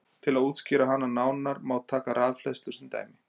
Til að útskýra hana nánar má taka rafhleðslu sem dæmi.